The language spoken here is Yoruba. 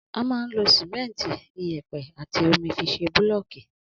Ama ń lo Símẹńti, ìyépẹ àtí òmí fi sẹ búlọkì.